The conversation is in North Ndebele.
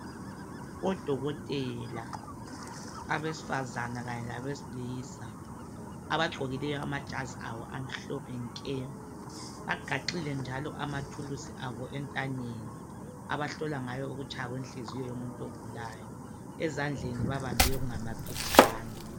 Odokothela abesifazana kanye labesilisa ,abagqokileyo amajazi abo amhlophe nke. Bagaxile njalo amathulusi abo entanyeni abahlola ngayo ukutshaya kwenhliziyo yomuntu ogulayo .Ezandleni bambambe okungamaphetshana.